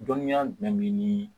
Dɔnniya jumɛn be ni